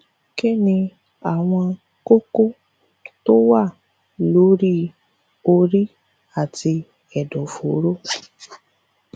kí ni àwọn kókó tó wà lórí orí àti ẹdọfóró